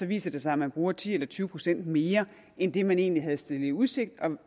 viser sig at man bruger ti procent eller tyve procent mere end det man egentlig havde stillet i udsigt